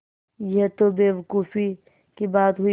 यह तो बेवकूफ़ी की बात हुई